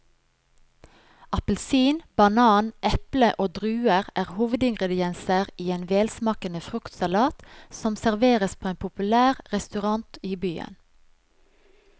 Appelsin, banan, eple og druer er hovedingredienser i en velsmakende fruktsalat som serveres på en populær restaurant i byen.